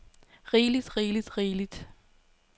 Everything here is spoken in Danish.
rigeligt rigeligt rigeligt